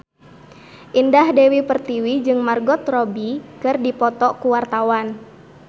Indah Dewi Pertiwi jeung Margot Robbie keur dipoto ku wartawan